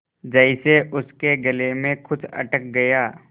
जैसे उसके गले में कुछ अटक गया